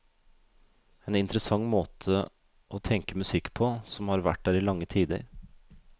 En interessant måte å tenk musikk på, som har vært der i lange tider.